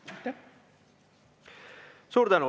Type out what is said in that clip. Suur tänu!